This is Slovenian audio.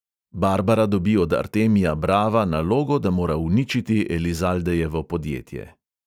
Barbara dobi od artemia brava nalogo, da mora uničiti elizaldejevo podjetje.